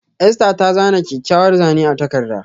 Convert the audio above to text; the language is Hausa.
Esther ta zana kyakkyawar Zane a takarda.